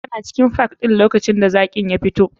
Tana cikin park ɗin lokacin da zakin ya fito.